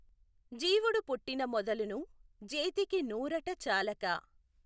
జీవుడుపుట్టిన మొదలును జేతికి నూఱట చాలక।